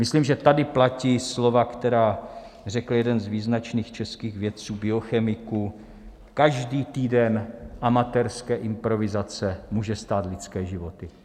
Myslím, že tady platí slova, která řekl jeden z význačných českých vědců, biochemiků: každý týden amatérské improvizace může stát lidské životy.